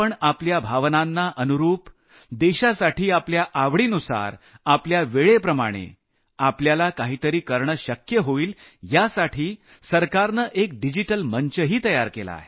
आपल्या भावनांना अनुरूप देशासाठी आपल्या आवडीनुसार आपल्या वेळेप्रमाणे आपल्याला काही तरी करणं शक्य होईल यासाठी सरकारनं एक डिजिटल मंचही तयार केला आहे